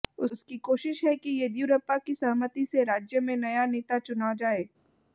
उसकी कोशिश है कि येदयुरप्पा की सहमति से राज्य में नया नेता चुना जाए